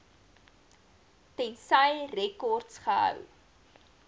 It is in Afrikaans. tensy rekords gehou